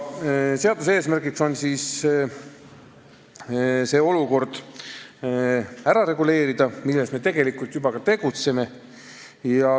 Seaduse eesmärk on reguleerida ära see olukord, milles me tegelikult juba ka tegutseme.